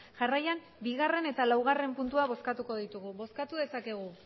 jarraian bigarren eta laugarren puntua bozkatuko ditugu bozkatu dezakegu